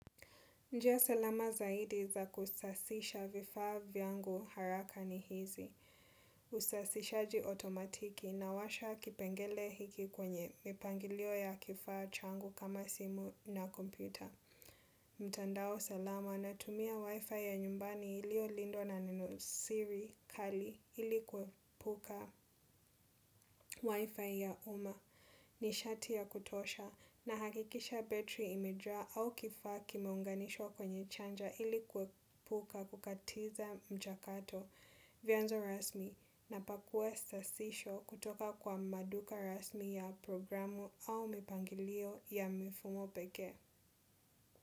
Njia salama zaidi za kusasisha vifaa vyangu haraka ni hizi. Usasishaji otomatiki nawasha kipengele hiki kwenye mipangilio ya kifaa changu kama simu na kompyuta. Mtandao salama natumia wifi ya nyumbani iliyolindwa na neno Siri kali ili kuepuka wifi ya umma. Nishati ya kutosha nahakikisha battery imejaa au kifaa kimeunganishwa kwenye charger ili kuepuka kukatiza mchakato vyanzo rasmi napakua sasisho kutoka kwa maduka rasmi ya programu au mipangilio ya mifumo peke.